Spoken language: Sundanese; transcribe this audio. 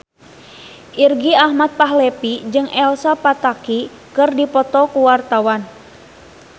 Irgi Ahmad Fahrezi jeung Elsa Pataky keur dipoto ku wartawan